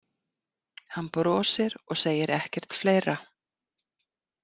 Hann brosir og segir ekkert fleira.